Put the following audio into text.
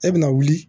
E bɛna wuli